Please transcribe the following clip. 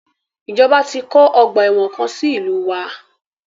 Ìjọba ti ń kọ́ ọgbà ẹ̀wọ̀n kan sí ìlúu wa.